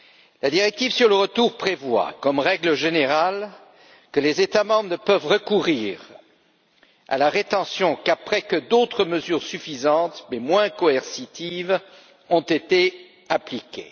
La directive sur le retour prévoit, comme règle générale, que les États membres ne peuvent recourir à la rétention qu'après que d'autres mesures suffisantes mais moins coercitives ont été appliquées.